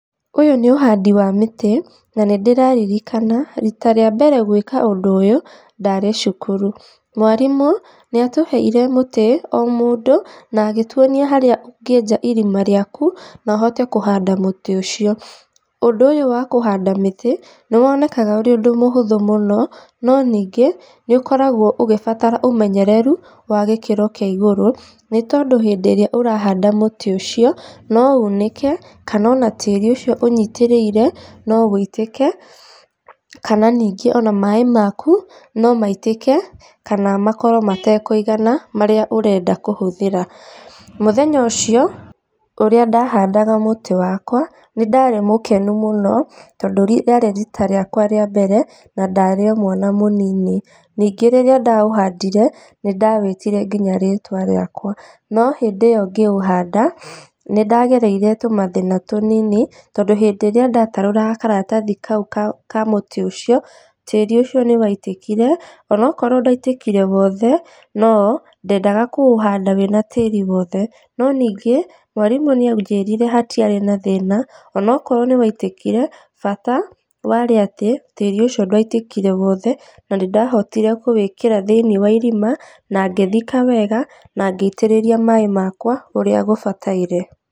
Ũyũ nĩ ũhandi wa mĩtĩ na nĩ ndĩraririkana rita rĩa mbere gwĩka ũndũ ũyũ ndarĩ cukuru. Mwarimũ nĩ atũheire mũtĩ o mũndũ na agĩtwonia harĩa ũngĩenja irima rĩaku nohote kũhanda mũtĩ ũcio. Ũndũ ũyũ wa kũhaanda mĩtĩ nĩ wonekaga ũrĩ ũndũ mũhũthũ mũno, no nĩngĩ nĩ ũkoragwo ũgĩbatara ũmenyereru wa gĩkĩro kĩa igũrũ, nĩ tondũ hĩndĩ ĩrĩa ũrahanda mũtĩ ũcio no uunĩke kana ona tĩĩri ũcio ũnyitĩrĩire no ũitĩke kana ningĩ ona maĩĩ maku no maitĩke kana makorwo matekũigana marĩa ũrenda kũhũthĩra. Mũthenya ũcio ũrĩa ndahandaga mũtĩ wakwa nĩndarĩ mũkenu mũno tondũ rĩarĩ riita rĩakwa rĩa mbere na ndarĩo mwana mũnini, ningĩ rĩrĩa ndaũhandire nĩ ndawĩĩtire nginya rĩtwa rĩakwa, no hĩndi ĩyo ngĩũhanda nĩ ndagereire tũmathĩ na tũnini tondũ rĩrĩa ndatarũraga karatathi kau ka mũtĩ ũcio, tĩri ũcio nĩwaitĩkire onakorwo ndwaitĩkire wothe no ndendaga kũũhanda wĩna tĩri wothe, no ningĩ mwarimũ nĩ anjĩrire hatiarĩ na thĩna onokorwo nĩwaitĩkire bata warĩ atĩ tĩri ũcio ndwaitĩkire wothe, na nĩ ndahotire kũwĩkĩra thĩinĩ wa irima na ngĩthika wega na ngĩitĩrĩria maĩ makwa ũrĩa gũbataire